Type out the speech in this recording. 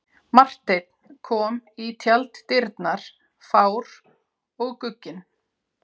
Marteinn kom í tjalddyrnar fár og gugginn.